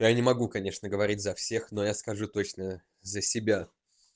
я не могу конечно говорить за всех но я скажу точно за себя